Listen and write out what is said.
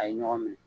A ye ɲɔgɔn minɛ